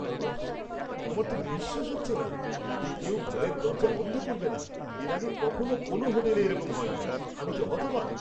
ওহ্, আমার তো বিশ্বাস হচ্ছে না যে কেউ ঘরের দরজা বন্ধ করবে না! এর আগে কখনো কোনো হোটেলে এইরকম হয়নি। আমি তো হতবাক!